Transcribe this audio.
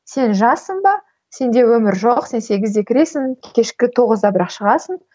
сен жассың ба сенде өмір жоқ сен сегізде кіресің кешкі тоғызда бірақ шығасың